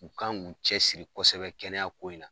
U kan k'u cɛsiri kɔsɛbɛ kɛnɛya ko in na.